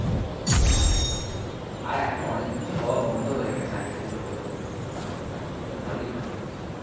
আর এখন অনেক কিছু হওয়া বন্ধ হয়ে গেছে, আগে যেগুলো হতো ভালো, এখন ওগুলো হয়ই না অনেক কিছু।